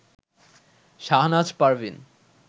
Shahnaz Parveen